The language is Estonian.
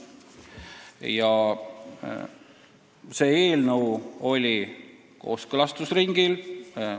Ja see eelnõu oli kooskõlastusringil.